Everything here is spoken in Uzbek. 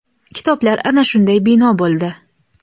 Kitoblar ana shunday bino bo‘ldi).